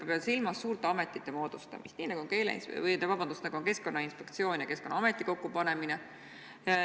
Ma pean silmas uute ametite moodustamist, nii nagu on Keskkonnainspektsiooni ja Keskkonnaameti kokkupanemine.